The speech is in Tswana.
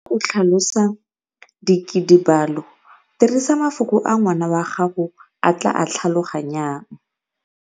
O tlhalosa dikidibalo, dirisa mafoko a ngwana wa gago a tla a tlhaloganyang.